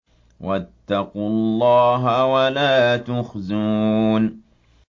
وَاتَّقُوا اللَّهَ وَلَا تُخْزُونِ